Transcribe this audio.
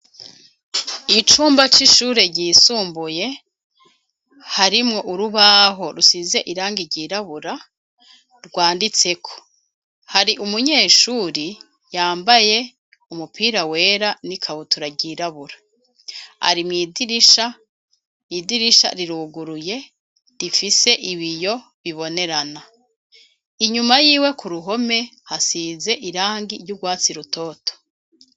Icumba c'ishure ryisumbuye harimwo urubaho rusize iranga ryirabura rwanditseko hari umunyeshuri yambaye umupira wera n'i kabutura ryirabura arimwidirisha idirisha riruguruye rifise ibi yo bibonerana inyuma yiwe ku ruhome hasize irangi ry'urwatsi rutoto.